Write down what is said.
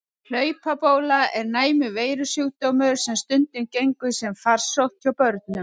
Hlaupabóla er næmur veirusjúkdómur sem stundum gengur sem farsótt hjá börnum.